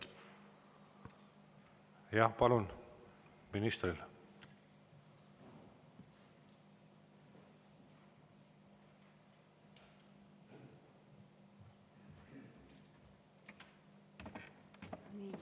Jah, palun, minister!